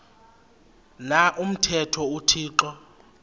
na umthetho uthixo